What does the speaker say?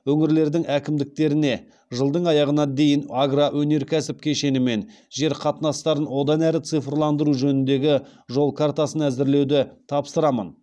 өңірлердің әкімдіктеріне жылдың аяғына дейін агроөнеркәсіп кешені мен жер қатынастарын одан әрі цифрландыру жөніндегі жол картасын әзірлеуді тапсырамын